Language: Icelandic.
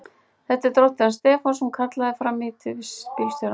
Þetta er dóttir hans Stefáns! kallaði hún fram í til bílstjórans.